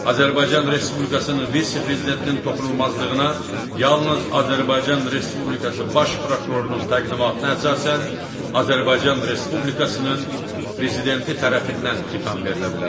Azərbaycan Respublikasının vitse-prezidentinin toxunulmazlığına yalnız Azərbaycan Respublikası Baş prokurorunun təqdimatına əsasən Azərbaycan Respublikasının Prezidenti tərəfindən xitam verilə bilər.